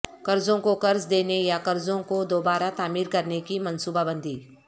قرضوں کو قرض دینے یا قرضوں کو دوبارہ تعمیر کرنے کی منصوبہ بندی